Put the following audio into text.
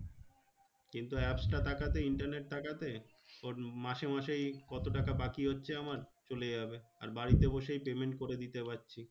কিন্তু apps টা থাকাতে internet থাকাতে, ওর মাসে মাসেই কত টাকা বাকি হচ্ছে আমার? চলে যাবে। আর বাড়িতে বসেই payment করে দিতে পারছি।